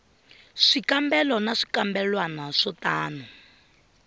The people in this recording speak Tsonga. swikambelo na swikambelwana swo tano